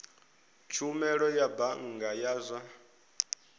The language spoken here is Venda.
tshumelo ya bannga ya zwa